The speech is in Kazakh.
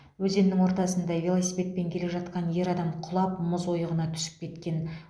өзеннің ортасында велосипедпен келе жатқан ер адам құлап мұз ойығына түсіп кеткен